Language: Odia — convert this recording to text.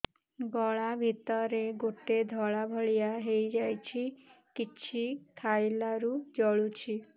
ଗଳା ଭିତରେ ଗୋଟେ ଧଳା ଭଳିଆ ହେଇ ଯାଇଛି କିଛି ଖାଇଲାରୁ ଜଳୁଛି